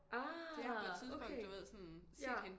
Ah okay! Ja